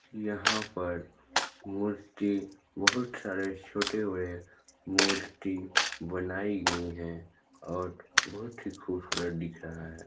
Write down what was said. यहाँ पर बहुत सारे छोटे बड़े मूर्ति बनाई गई है और बहुत ही खुबसूरत दिख रहा हैं।